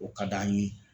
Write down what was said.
O ka d'an ye